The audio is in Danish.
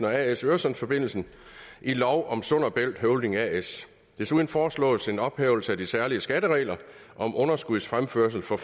as øresundsforbindelsen i lov om sund bælt holding as desuden foreslås en ophævelse af de særlige skatteregler om underskudsfremførsel for